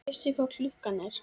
Veistu hvað klukkan er?